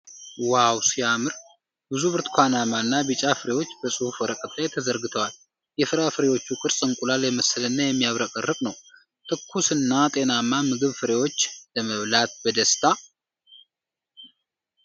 ዋው ሲያምር! ብዙ ብርቱካናማና ቢጫ ፍሬዎች በጽሑፍ ወረቀት ላይ ተዘርግተዋል። የፍራፍሬዎቹ ቅርፅ እንቁላል የመሰለና የሚያብረቀርቅ ነው። ትኩስና ጤናማ ምግብ ፍሬዎች ። ለመብላት በደስታ!